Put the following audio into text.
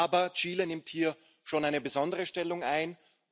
Aber Chile nimmt hier schon eine besondere Stellung ein.